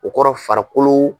O kɔrɔ farikolo.